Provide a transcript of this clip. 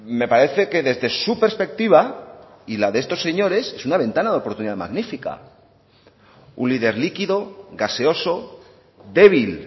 me parece que desde su perspectiva y la de estos señores es una ventana de oportunidad magnífica un líder líquido gaseoso débil